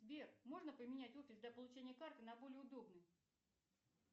сбер можно поменять офис для получения карты на более удобный